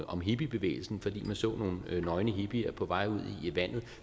om hippiebevægelsen fordi man så nogle nøgne hippier på vej ud i vandet